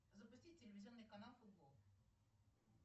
запусти телевизионный канал футбол